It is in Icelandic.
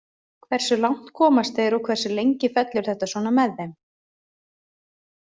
Hversu langt komast þeir og hversu lengi fellur þetta svona með þeim.